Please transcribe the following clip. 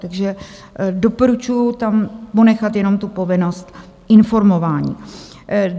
Takže doporučuji tam ponechat jenom tu povinnost informování.